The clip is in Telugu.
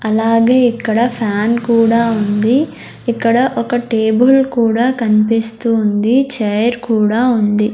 అలాగే ఇక్కడ ఫ్యాన్ కూడా ఉంది ఇక్కడ ఒక టేబుల్ కూడా కన్పిస్తూ ఉంది చైర్ కూడా ఉంది.